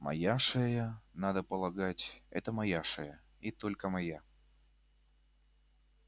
моя шея надо полагать это моя шея и только моя